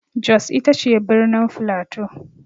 Jos ita ce birnin flato.